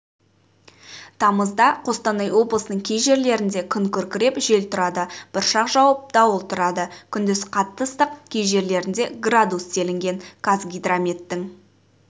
тамызда қостанай облысыынң кей жерлерінде күн күркіреп жел тұрады бұршақ жауып дауыл тұрады күндіз қатты ыстық кей жерлерінде градус делінген қазгидрометтің